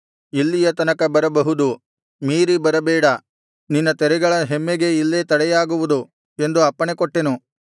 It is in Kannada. ಇಲ್ಲಿಯ ತನಕ ಬರಬಹುದು ಮೀರಿ ಬರಬೇಡ ನಿನ್ನ ತೆರೆಗಳ ಹೆಮ್ಮೆಗೆ ಇಲ್ಲೇ ತಡೆಯಾಗುವುದು ಎಂದು ಅಪ್ಪಣೆಕೊಟ್ಟೆನು